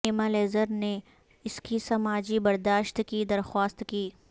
ایما Lazarus نے اس کی سماجی برداشت کی درخواست کی